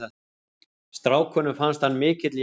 Strákunum fannst hann mikill jaxl.